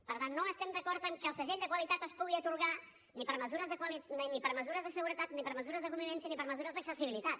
per tant no estem d’acord que el segell de qualitat es pugui atorgar ni per mesures de seguretat ni per mesures de convivència ni per mesures d’accessibilitat